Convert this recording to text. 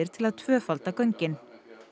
til að tvöfalda göngin